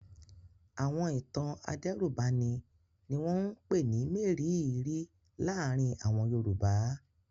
Àwọn ìtàn adẹ́rùbani ni wọ́n ń pè ní mérìíìírí láàárin àwọn Yorùbá.